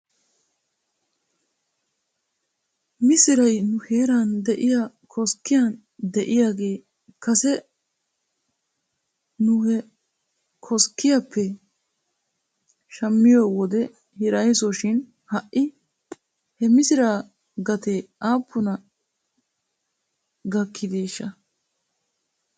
Misiray nu heeran de'iyaa koskkiyan de'iyaagee kase nu he koskkiyaappe shammiyoo wode hiraysso shin ha'i he misiraa gatee aappuna gakkideeshsha?